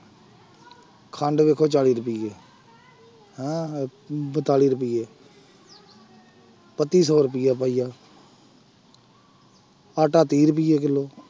ਖੰਡ ਦੇਖੋ ਚਾਲੀ ਰੁਪਈਏ ਹੈਂ ਬਤਾਲੀ ਰੁਪਈਏ ਪੱਤੀ ਸੌ ਰੁਪਇਆ ਪਾਈਆ ਆਟਾ ਤੀਹ ਰੁਪਏ ਕਿੱਲੋ।